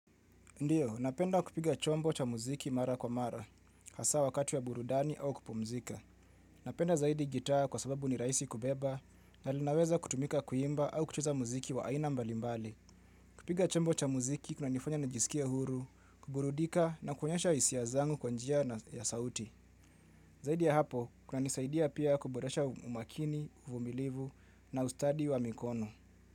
Ndiyo, napenda kupiga chombo cha muziki mara kwa mara, hasa wakati ya burudani au kupumzika. Napenda zaidi gitaa kwa sababu ni raisi kubeba na linaweza kutumika kuimba au kuchuza muziki wa aina mbalimbali. Kupiga chombo cha muziki, kuna nifanya na jisikia huru, kuburudika na kuonyesha isia zangu kwanjia na ya sauti. Zaidi ya hapo, kuna nisaidia pia kuboresha umakini, vumilivu na ustadi wa mikono.